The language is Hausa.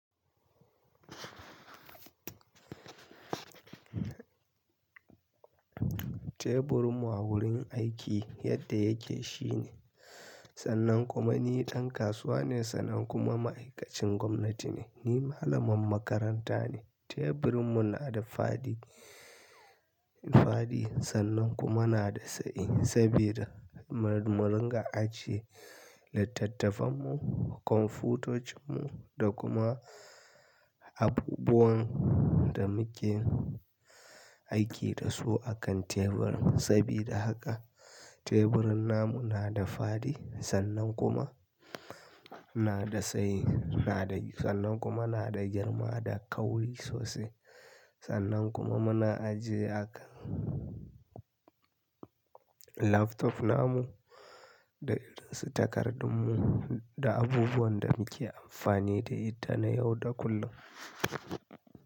Teburin mu a wurin aiki yadda yake shine, sannan kuma ni ɗan kasuwa ne sannan kuma ma'aikacin gwamnati ne. Ni malamin makaranta ne. Teburin mun na da fadi, fadi sannan kuma na da tsayi sabida mun ga aji, littattafan mu, kwamfutocin mu da kuma abubuwan da muke aiki da su a kan tebur. Sabida haka teburin namu na da fadi sannan kuma na da tsayi, na da, sannan kuma na da girma da kauri sosai. Sannan kuma muna ajiye a kan laptop namu da irin su takardun mu da abubuwan da muke amfani da ita na yau da kullum.